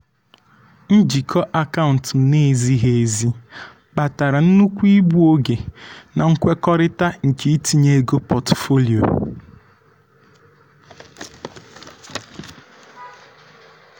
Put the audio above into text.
njikọ akaụntụ na-ezighi ezi kpatara nnukwu igbu oge na nkwekọrịta nke itinye ego pọtụfoliyo.